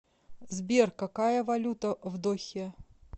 сбер какая валюта в дохе